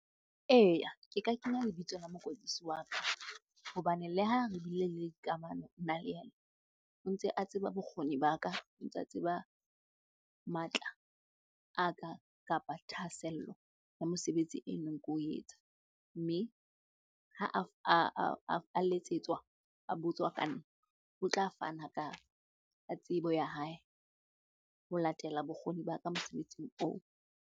Eya, ke ka kenya lebitso la mokwetlisi wa ka hobane le ha re bile le kamano nna le yena. O ntse a tseba bokgoni ba ka, o ntsa tseba matla a ka kapa thahasello ya mosebetsi e neng ko etsa. Mme ha a letsetswa a botswa ka nna, o tla fana ka tsebo ya hae ho latela bokgoni ba ka mosebetsing oo.